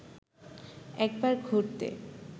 একবার ঘুরতে